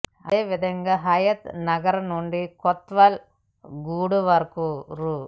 అదే విధంగా హయత్ నగర్ నుండి కొత్వాల్ గూడ వరకు రూ